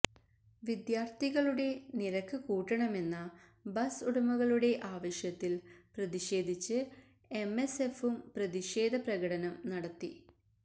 വിദ്യാര്ഥികളുെട നിരക്ക് കൂട്ടണമെന്ന ബസ് ഉടമകളുടെ ആവശ്യത്തില് പ്രതിഷേധിച്ച് എംഎസ്എഫും പ്രതിഷേധ പ്രകടനം നടത്തി